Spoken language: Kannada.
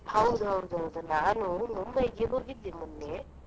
ಹೌದೌದು ಹೌದು ನಾನು Mumbai ಇಗೆ ಹೋಗಿದ್ದೆ ಮೊನ್ನೆ.